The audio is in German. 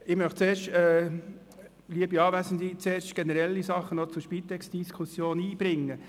Ich möchte zuerst einige generelle Dinge zur Spitex-Diskussion einbringen.